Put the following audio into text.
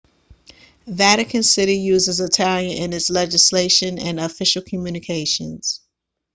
vatican city uses italian in its legislation and official communications